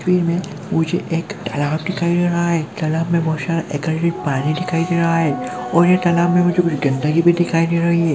मुझे एक तलाब दिखाई दे रहा है तलाब में बहुत सारा पानी दिखाई दे रहा है और तालाब में मुझे कुछ गंदगी भी दिखाई दे रही है।